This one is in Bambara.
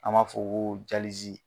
An b'a fɔ ko